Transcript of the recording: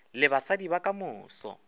le basadi ba ka moso